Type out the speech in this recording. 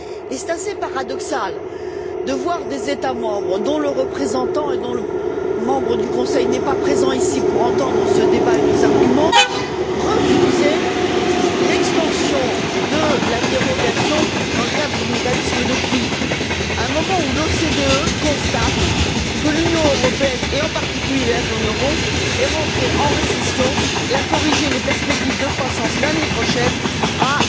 Il est assez paradoxal de voir des États membres dont le représentant et membre du Conseil n'est pas présent ici pour entendre ce débat et nos arguments refuser l'extension de la dérogation dans le cadre du mécanisme de crise, à un moment où l'OCDE constate que l'Union européenne et, en particulier, la zone euro est rentrée en récession et a corrigé les perspectives de croissance pour l'année prochaine à